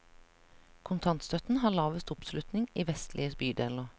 Kontantstøtten har lavest oppslutning i vestlige bydeler.